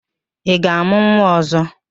Ị ga-amụ nwa ọzọ?